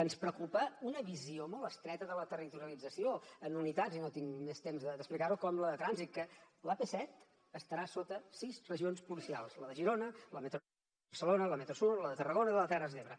ens preocupa una visió molt estreta de la territorialització en unitats i no tinc més temps d’explicar ho com la de trànsit que l’ap set estarà sota sis regions policials la de girona la metro nord la de barcelona la metro sud la de tarragona i la de les terres de l’ebre